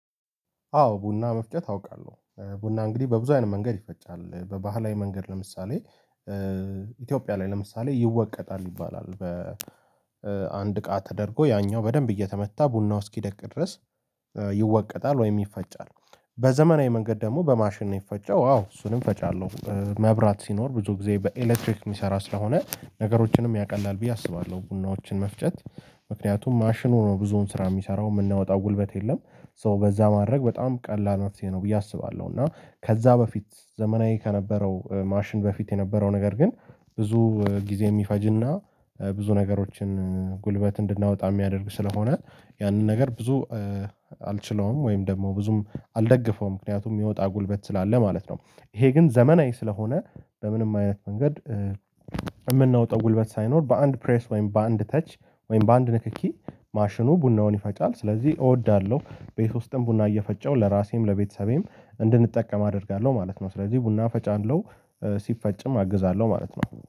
አዎ ቡና መፍጨት አውቃለሁ ቡና እንግዲህ በብዙ አይነት መንገድ ይፈጫል በባህላዊ መንገድ ለምሳሌ ኢትዮጵያ ላይ ለምሳሌ ይወቀጣል ይባላል በአንድ እቃ ተደርጎ ያኛው በደንብ እየተመታ ቡናው እስኪደቅ ድረስ ይወቀጣል ወይም ይፈጫል። በዘመናዊ መንገድ ደግሞ በማሽን ነው የሚፈጨው አዎ እሱንም ፈጫለሁ መብራት ሲኖር ብዙ ጊዜ በኤሌክትሪክ የሚሰራ ስለሆነ ነገሮችንም ያቀላል ብዬ አስባለሁ ቡናዎችን መፍጨት ምክንያቱም ማሽኑ ነው ብዙውን ስራ የሚሰራው የምናወጣው ጉልበት የለም ሶ በዛ ማድረግ በጣም ቀላል መፍትሄ ነው ብዬ አስባለሁ። እና ከዛ በፊት ዘመናዊ ከነበረው ማሽን በፊት የነበረው ነገር ግን ብዙ ጊዜ የሚፈጅና ብዙ ነገሮችን ጉልበት እንድናወጣ የሚያደርግ ስለሆነ ያንን ነገር ብዙ አልችለውም ወይም ደግሞ ብዙም አልደገፈውም ምክንያቱም የሚወጣ ጉልበት ስላለ ማለት ነው። ይሄ ግን ዘመናዊ ስለሆነ በምንም አይነት መንገድ የምናወጣው ጉልበት ሳይኖር በአንድ ፕሬስ ወይም በአንድ ተች ወይም በአንድ ንክኪ ማሽኑ ቡናውን ይፈጫል ስለዚህ እወዳለሁ። ቤት ውስጥም ቡና እየፈጨው ለራሴም ለቤተሰቤም እንድንጠቀም አደርጋለሁ ማለት ነው። ስለዚህ ቡና ፈጫለው ሲፈጭም አግዛለሁ ማለት ነው።